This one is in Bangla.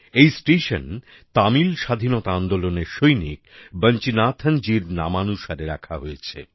এই স্টেশন তামিল স্বাধীনতা আন্দোলনের সৈনিক বাঞ্চিনাথন জীর নামানুসারে রাখা হয়েছে